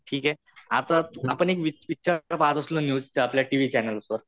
ठीके आता आपण आता पहात असलो न्यूस, आपल्या टीव्ही चॅनेल्सवर.